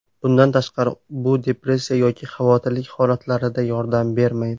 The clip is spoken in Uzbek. Bundan tashqari bu depressiya yoki xavotirlik holatlarida yordam bermaydi.